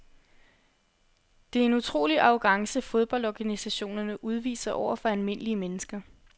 Det er en utrolig arrogance fodboldorganisationerne udviser over for almindelige mennesker.